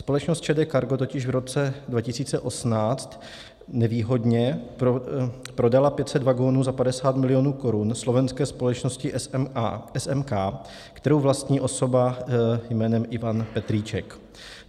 Společnost ČD Cargo totiž v roce 2018 nevýhodně prodala 500 vagonů za 50 milionů korun slovenské společnosti SMK, kterou vlastní osoba jménem Ivan Petríček.